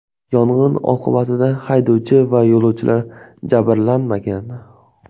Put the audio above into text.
Yong‘in oqibatida haydovchi va yo‘lovchilar jabrlanmagan.